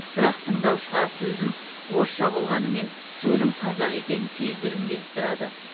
бірақ тыңдаушыға сөзім орысша болғанымен сөлім қазақ екенін сездіргім келіп тұрады